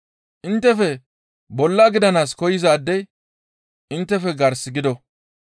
Inttefe bolla gidanaas koyzaadey inttefe gars gido.